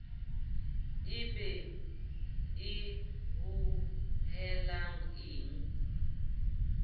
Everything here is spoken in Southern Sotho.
e be e hohelang e